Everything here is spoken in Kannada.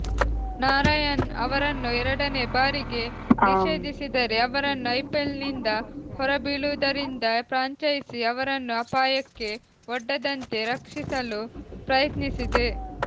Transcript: ನಾರಾಯಣ್ ಅವರನ್ನು ಎರಡನೇ ಬಾರಿಗೆ ನಿಷೇಧಿಸಿದರೆ ಅವರು ಐಪಿಎಲ್ನಿಂದ ಹೊರಬೀಳುವುದರಿಂದ ಫ್ರಾಂಚೈಸಿ ಅವರನ್ನು ಅಪಾಯಕ್ಕೆ ಒಡ್ಡದಂತೆ ರಕ್ಷಿಸಲು ಪ್ರಯತ್ನಿಸಿದೆ